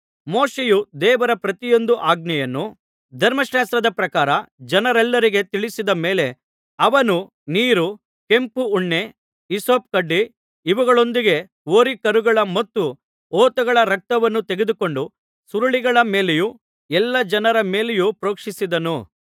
ಮೋಶೆಯು ದೇವರ ಪ್ರತಿಯೊಂದು ಆಜ್ಞೆಯನ್ನು ಧರ್ಮಶಾಸ್ತ್ರದ ಪ್ರಕಾರ ಜನರೆಲ್ಲರಿಗೆ ತಿಳಿಸಿದ ಮೇಲೆ ಅವನು ನೀರು ಕೆಂಪು ಉಣ್ಣೆ ಹಿಸ್ಸೋಪುಕಡ್ಡಿ ಇವುಗಳೊಂದಿಗೆ ಹೋರಿಕರುಗಳ ಮತ್ತು ಹೋತಗಳ ರಕ್ತವನ್ನು ತೆಗೆದುಕೊಂಡು ಸುರುಳಿಗಳ ಮೇಲೆಯೂ ಎಲ್ಲಾ ಜನರ ಮೇಲೆಯೂ ಪ್ರೋಕ್ಷಿಸಿದನು